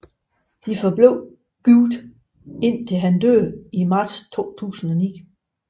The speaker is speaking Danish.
De forblev gift indtil han døde i marts 2009